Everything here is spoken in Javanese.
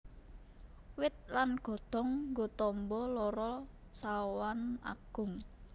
Wit lan godhong nggo tamba lara sawan agung